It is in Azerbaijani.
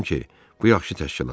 Bilirəm ki, bu yaxşı təşkilatdır.